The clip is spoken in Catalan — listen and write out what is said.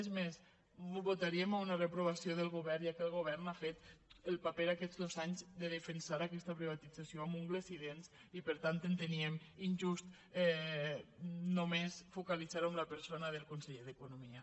és més votaríem una reprovació del govern ja que el govern ha fet el paper aquestos anys de defensar aquesta privatització amb ungles i dents i per tant enteníem injust només focalitzar ho en la persona del conseller d’economia